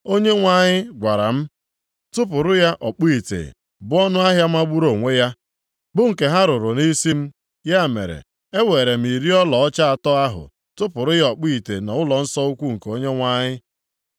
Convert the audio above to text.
Onyenwe anyị gwara m, “Tụpụrụ ya ọkpụ ite,” bụ ọnụahịa magburu onwe ya bụ nke ha rụrụ nʼisi m. Ya mere, eweere m iri ọlaọcha atọ ahụ tụpụrụ ya ọkpụ ite nʼụlọnsọ ukwu nke Onyenwe anyị.